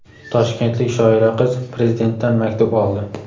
Toshkentlik shoira qiz Prezidentdan maktub oldi.